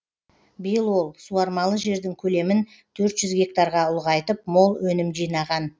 биыл ол суармалы жердің көлемін төрт жүз гектарға ұлғайтып мол өнім жинаған